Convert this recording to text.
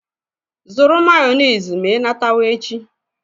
Zụrụ Mayonezi n'ụzọ gị azụ echi!